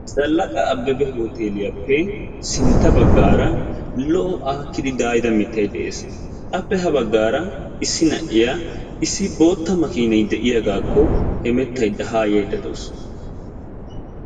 Zalaqa Ababa hooteliya matan keehippe daayidda mitay de'ees ha mitta matan issi naiya haa hemettadda yaydde de'awussu.